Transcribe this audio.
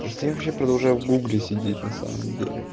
просто вообще продолжает в гугле сидеть на самом деле